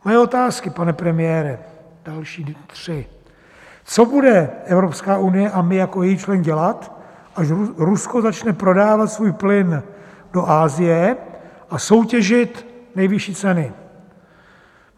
Moje otázky, pane premiére, další tři: Co bude Evropská unie a my jako její člen dělat, až Rusko začne prodávat svůj plyn do Asie a soutěžit nejvyšší ceny?